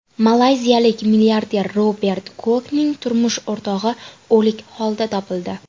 Malayziyalik milliarder Robert Kuokning turmush o‘rtog‘i o‘lik holda topildi.